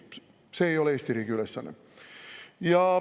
See ei ole Eesti riigi ülesanne.